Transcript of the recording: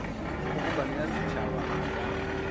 kgobokano ya setšhaba a ka